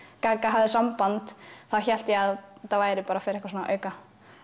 gagga hafði samband þá hélt ég að þetta væri fyrir eitthvað svona auka